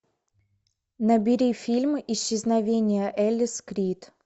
набери фильм исчезновение элис крид